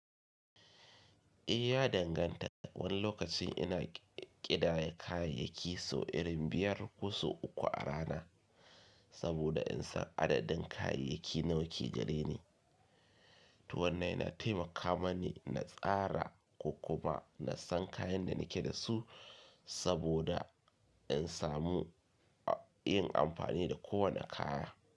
Eh ya danganta. Wani lokacin ina ƙidaye kayayyaki sau irin biyar ko sau uku a rana saboda in san adadin kayayyaki nawa ke gareni. To wannan yana taimaka mani na tsara ko kuma nasan kayan da nake dasu saboda in samu yin amfani da kowanne kaya.